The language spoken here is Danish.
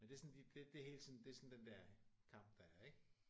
Men det er sådan lige det det er hele sådan det er sådan den der kamp der er ik